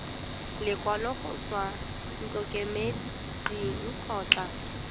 lekwalo go tswa ntlokemeding kgotsa